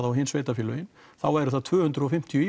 og hin sveitarfélögin þá væri það tvö hundruð og fimmtíu